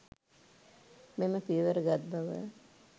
මෙම පියවර ගත් බව